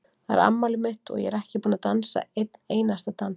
Það er afmælið mitt og ég er ekki búin að dansa einn einasta dans